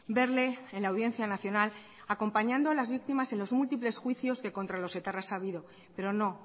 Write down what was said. verle en la audiencia nacional acompañando a las víctimas en los múltiples juicios que contra los etarras ha habido pero no